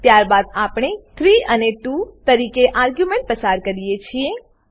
ત્યારબાદ આપણે 3 અને 2 તરીકે આર્ગ્યુંમેંટો પસાર કરીએ છીએ